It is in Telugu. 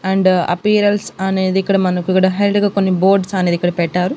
అండ్ అప్పీరల్స్ అనేది ఇక్కడ మనకు ఇక్కడ హై లైట్ గా కొన్ని బోర్డ్స్ అనేది ఇక్కడ పెట్టారు.